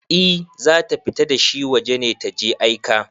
I zata fita dashi waje ne taje aika